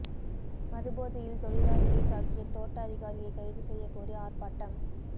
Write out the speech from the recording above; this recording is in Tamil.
மதுபோதையில் தொழிலாளியை தாக்கிய தோட்ட அதிகாரியை கைது செய்ய கோரி ஆர்ப்பாட்டம்